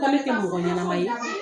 mɔgɔ ɲɛnama ye.